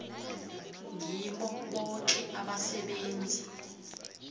ngibo boke abasebenzi